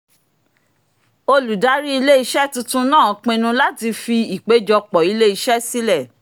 olùdarí ilé-iṣẹ́ tuntun náà pinnu láti fi ìpèjọpọ̀ ilé-iṣẹ́ sílẹ̀